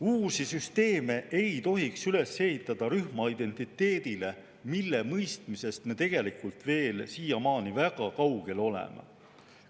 " Uusi süsteeme ei tohiks üles ehitada rühmaidentiteedile, mille mõistmisest me tegelikult siiamaani veel väga kaugel oleme.